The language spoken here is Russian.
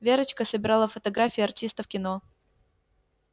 верочка собирала фотографии артистов кино